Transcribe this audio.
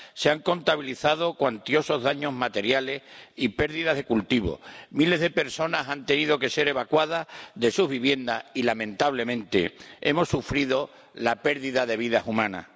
Se han contabilizado cuantiosos daños materiales y pérdidas de cultivo. Miles de personas han tenido que ser evacuadas de sus viviendas y, lamentablemente, hemos sufrido la pérdida de vidas humanas.